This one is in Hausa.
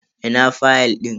Ina fayal din?